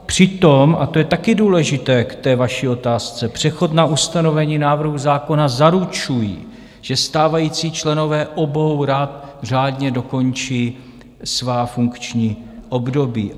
Přitom, a to je taky důležité k té vaší otázce, přechod na ustanovení návrhu zákona zaručuje, že stávající členové obou rad řádně dokončí svá funkční období.